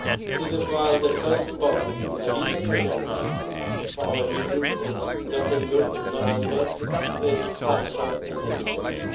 proud'. This is why the first point on the Leaders' Agenda for our meeting in Gothenburg in November is culture and education.